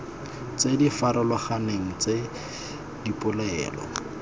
tse di farologaneng tsa dipolelo